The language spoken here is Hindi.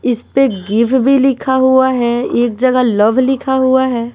इस पे गिव भी लिखा हुआ है एक जगह लव लिखा हुआ है।